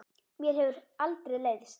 Mér hefur aldrei leiðst.